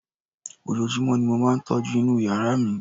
ojojúmọ́ ni mo máà ń tọ́jú inú yàrá mi